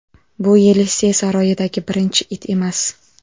Bu Yelisey saroyidagi birinchi it emas.